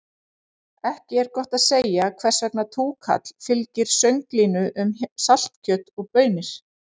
Ekki er gott að segja hvers vegna túkall fylgir sönglinu um saltkjöt og baunir.